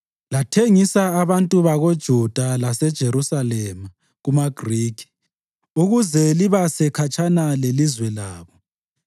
Lathengisa abantu bakoJuda laseJerusalema kumaGrikhi, ukuze libase khatshana lelizwe labo.